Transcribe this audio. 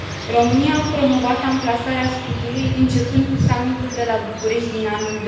România a promovat amplasarea scutului începând cu summitul de la București din anul